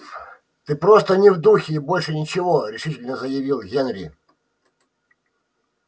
ты просто не в духе и больше ничего решительно заявил генри